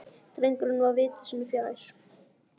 Drengur var viti sínu fjær.